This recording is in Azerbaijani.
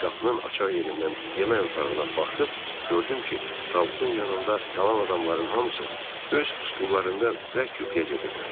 Qapının açar yerindən yemək otağına baxıb gördüm ki, tabutun yanında qalan adamların hamısı öz stullarında bərk yuxuya gediblər.